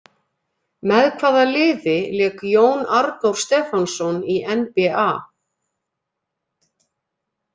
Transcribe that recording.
Með hvaða liði lék Jón Arnór Stefánsson í NBA?